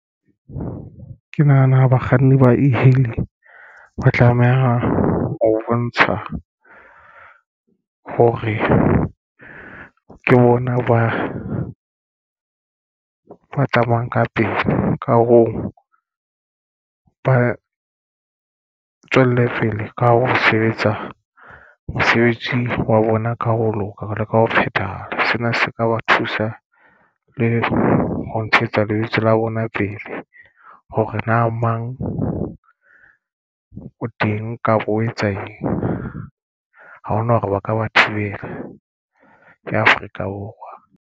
Ke nahana bakganni ba e-hailing ba tlameha ho bontsha hore ke bona ba tsamayang ka pele ka ho ba tswelle pele ka hare ho sebetsa mosebetsi wa bona ka hare ho loka jwalo ka ho phethahala. Sena se ka ba thusa le ho ntshetsa lebitso la bona pele hore na mang o teng kapa o etsa eng. Ha hona hore ba ka ba thibela. Ya Afrika Borwa.